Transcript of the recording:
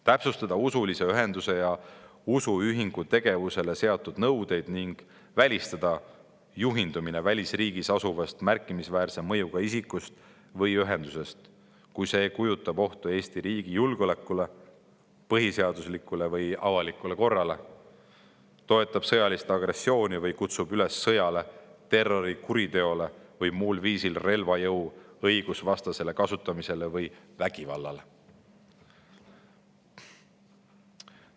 Täpsustada usulise ühenduse ja usuühingu tegevusele seatud nõudeid ning välistada juhindumine välisriigis asuvast märkimisväärse mõjuga isikust või ühendusest, kui see kujutab ohtu Eesti riigi julgeolekule, põhiseaduslikule või avalikule korrale, toetab sõjalist agressiooni või kutsub üles sõjale, terrorikuriteole või muul viisil relvajõu õigusvastasele kasutamisele või vägivallale.